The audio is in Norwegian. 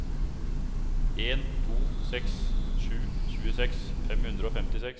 en to seks sju tjueseks fem hundre og femtiseks